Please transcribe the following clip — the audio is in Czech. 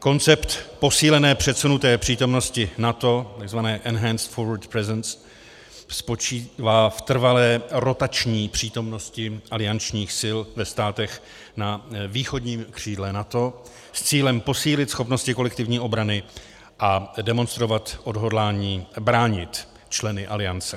Koncept Posílené předsunuté přítomnosti NATO, takzvané Enhanced Forward Presence, spočívá v trvalé rotační přítomnosti aliančních sil ve státech na východním křídle NATO s cílem posílit schopnosti kolektivní obrany a demonstrovat odhodlání bránit členy aliance.